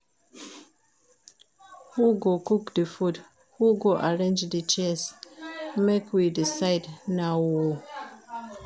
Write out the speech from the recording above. Who go cook di food? Who go arrange di chairs? Make we decide now o.